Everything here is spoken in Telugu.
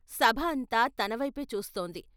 సభ అంతా తనవైపే చూస్తోంది.